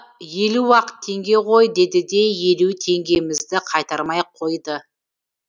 елу ақ теңге ғой деді де елу теңгемізді қайтармай қойды